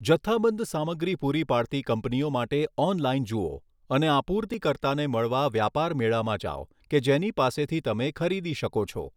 જથ્થાબંધ સામગ્રી પૂરી પાડતી કંપનીઓ માટે ઓનલાઇન જુઓ અને આપૂર્તિકર્તાને મળવા વ્યાપાર મેળામાં જાઓ કે જેની પાસેથી તમે ખરીદી શકો છો.